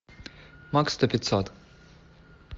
макс сто пятьсот